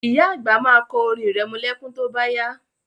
Ìyá àgbà ma kọ orin irẹmọlẹ́kún tó bá yá